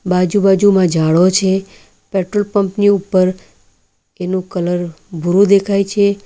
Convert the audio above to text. આજુબાજુમાં ઝાળો છે પેટ્રોલ પંપની ઉપર એનો કલર ભૂરું દેખાય છે.